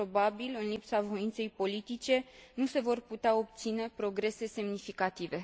Probabil, în lipsa voinței politice, nu se vor putea obține progrese semnificative.